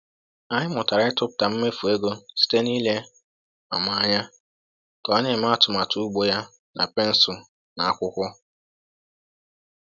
Anyị mụtara ịtụpụta mmefu ego site n’ile Mama anya ka ọ na-eme atụmatụ ugbo ya na pensụl na akwụkwọ.